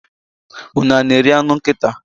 unu a na-eri anụ nkịta?